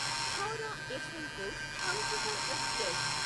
Howrah Yesvantpur Humsafar express